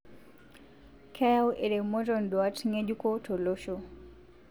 keyau eremoto nduat ngejuko tolosho